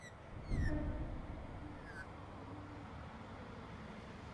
салют посмотреть канал телевидения любимое кино